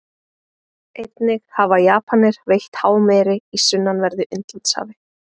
Einnig hafa Japanir veitt hámeri í sunnanverðu Indlandshafi.